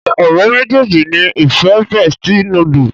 ṣe ọ̀rẹ́ méjèèjì ní ìfẹ bestie noodle?